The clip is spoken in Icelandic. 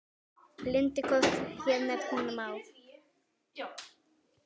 Bindi korns hér nefna má.